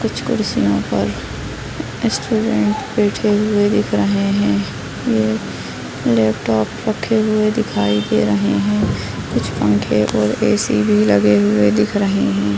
कुछ कुर्सियों पर स्टूडेंट बैठे हुए दिख रहे है एक लैपटॉप रखे हुए दिखाई दे रहे है कुछ पंखे और ए.सी. भी लगे हुए दिख रहे है।